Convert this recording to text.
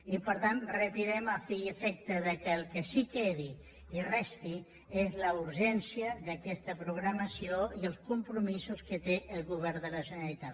i per tant les retirem a fi i efecte que el que sí que quedi i resti sigui la urgència d’aquesta programació i els compromisos que té el govern de la generalitat